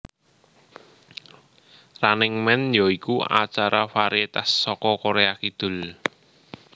Running Man ya iku acara varietas saka Korea Kidul